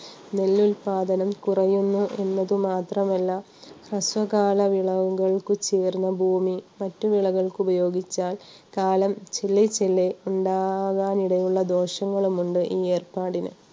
നെല്ലുൽപാദനം കുറയുന്നു എന്നത് മാത്രമല്ല ഹ്രസ്വകാലവിളവുകക്കു ചേർന്ന ഭൂമി മറ്റു വിളകൾക്ക് ഉപയോഗിച്ചാൽ കാലം ചില ചില ഉണ്ടാവാൻ ഇടയുള്ള ദോഷങ്ങളുമുണ്ട് ഈ ഏർപ്പാടിന്.